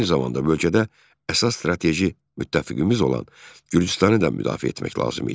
Eyni zamanda bölgədə əsas strateji müttəfiqimiz olan Gürcüstanı da müdafiə etmək lazım idi.